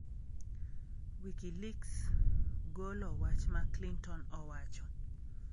Wikileaks golo wach ma Clinton owacho